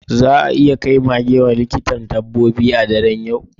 Za a iya kai maggie ga likitan dabbobi a daren yau?